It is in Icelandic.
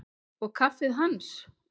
Og kaffið hans?